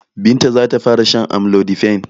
Binta za ta fara shan amlodipine.